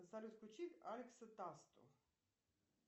салют включи алекса тасту